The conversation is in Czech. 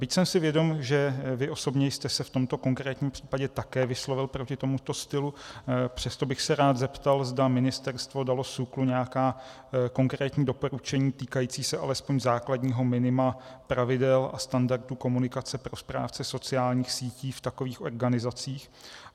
Byť jsem si vědom, že vy osobně jste se v tomto konkrétním případě také vyslovil proti tomuto stylu, přesto bych se rád zeptal, zda ministerstvo dalo SÚKLu nějaká konkrétní doporučení týkající se alespoň základního minima pravidel a standardů komunikace pro správce sociálních sítí v takových organizacích.